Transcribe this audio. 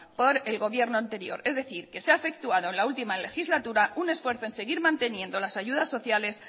por el gobierno anterior es decir que se ha efectuado en la última legislatura un esfuerzo en seguir manteniendo las ayudas sociales